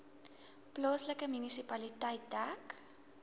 plaaslike munisipaliteit dek